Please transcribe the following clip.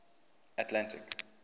atlantic